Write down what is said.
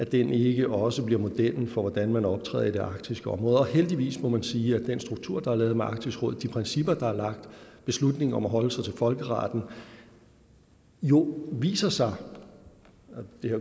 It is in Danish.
den ikke også bliver modellen for hvordan man optræder i det arktiske område heldigvis må man sige at den struktur der er lavet med arktisk råd de principper der er lagt beslutning om at holde sig til folkeretten jo viser sig